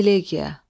Elegiya.